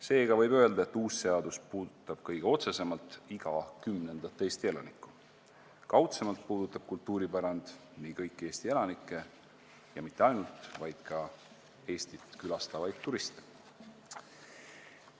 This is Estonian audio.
Seega võib öelda, et uus seadus puudutab kõige otsesemalt iga kümnendat Eesti elanikku, kaudsemalt puudutab kultuuripärand kõiki Eesti elanikke ja mitte ainult, vaid ka Eestit külastavaid turiste.